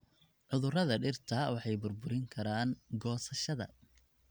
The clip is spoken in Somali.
Cudurada dhirta waxay burburin karaan goosashada.